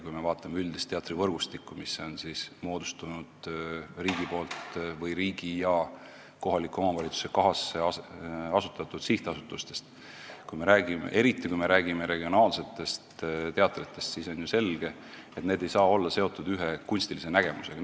Kui me vaatame üldist teatrivõrgustikku, mis on moodustatud riigi või riigi ja kohaliku omavalitsusega kahasse asutatud sihtasutustest, eriti, kui me räägime regionaalsetest teatritest, siis on ju selge, et need ei saa olla seotud ühe kunstilise nägemusega.